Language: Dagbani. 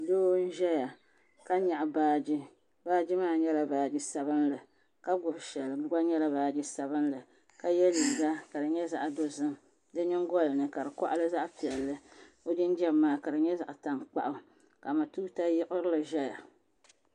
Doo n ʒɛya ka nyaɣi baagi baagi maa nyɛla baagi sabinli ka gbibi shɛli di gba nyɛla baagi sabinli ka ye liiga ka di nyɛ zaɣa dozim di nyingolini ka di koɣali zaɣa piɛlli o jinjiɛm maa ka di nyɛ zaɣa tankpaɣu ka matuuka yiɣilili ʒiya.